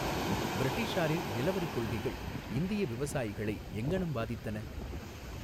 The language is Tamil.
பிரிட்டிஷாரின் நிலவரிக் கொள்கைகள் இந்திய விவசாயிகளை எங்ஙனம் பாதித்தன?